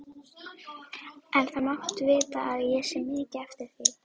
En það máttu vita að ég sé mikið eftir þér.